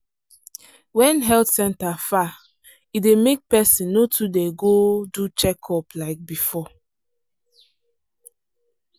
wen health centre far e dey make person no too dey go do checkup like before.